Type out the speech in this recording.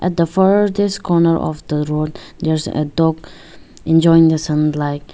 the far this corner of the road there's a dog enjoying the sunlight.